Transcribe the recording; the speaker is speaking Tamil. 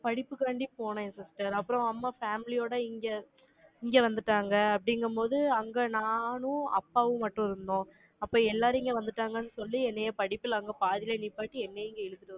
படிப்புக்காண்டி போனேன் sister அப்புறம் அம்மா ஃபேமிலியோட இங்க, இங்க வந்துட்டாங்க, அப்படிங்கும்போது, அங்க நானும், அப்பாவும் மட்டும் இருந்தோம் அப்ப எல்லாரும் இங்க வந்துட்டாங்கன்னு சொல்லி, என்னைய படிப்புல, அவங்க பாதியிலேயே நிப்பாட்டி, என்னைய இங்க இழுத்துட்டு